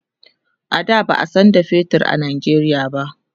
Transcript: a da ba'a San da fetur a Nigeria ba